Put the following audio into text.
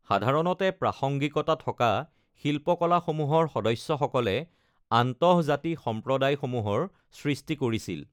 সাধাৰণতে প্ৰাসংগিকতা থকা শিল্পকলাসমূহৰ সদস্যসকলে আন্তঃজাতি সম্প্ৰদায়সমূহৰ সৃষ্টি কৰিছিল।